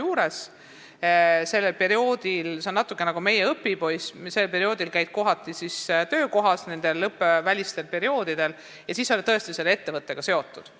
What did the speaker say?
Õppevälistel perioodidel käiakse sarnaselt meie õpipoistega tulevases töökohas ja ollakse selle ettevõttega tõesti seotud.